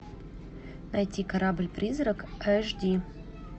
найти корабль призрак аш ди